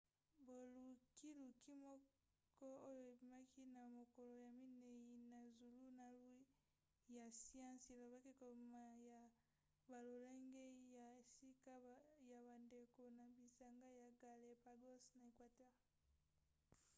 bolukiluki moko oyo ebimaki na mokolo ya minei na zulunalu ya siansi elobaki kobima ya balolenge ya sika ya bandeko na bisanga ya galápagos na equateur